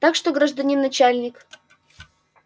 так точно гражданин начальник